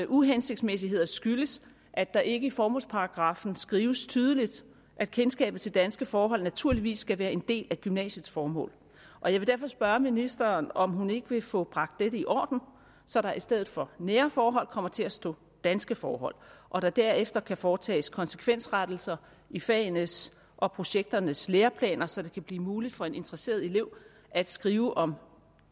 uhensigtsmæssigheder skyldes at der ikke i formålsparagraffen skrives tydeligt at kendskabet til danske forhold naturligvis skal være en del af gymnasiets formål jeg vil derfor spørge ministeren om hun ikke vil få bragt dette i orden så der i stedet for nære forhold kommer til at stå danske forhold og der derefter kan foretages konsekvensrettelser i fagenes og projekternes læreplaner så det kan blive muligt for en interesseret elev at skrive om